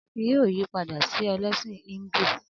Akin yóò yí padà sí ẹlẹ́sìn Híńdù.